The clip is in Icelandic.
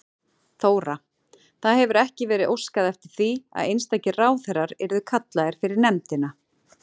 Þóra: Það hefur ekki verið óskað eftir því að einstakir ráðherrar yrðu kallaðir fyrir nefndina?